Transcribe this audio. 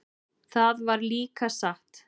Það var líka satt.